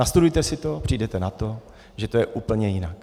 Nastudujte si to, přijdete na to, že je to úplně jinak.